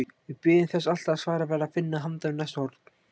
Við biðum þess alltaf að svarið væri að finna handan við næsta horn.